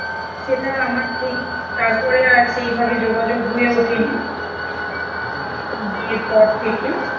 সেটা আমার ঠিক তার পরে সেই ভাবে যোগ যোগ হয়ে ওঠে নি, বিয়ে পর থেকে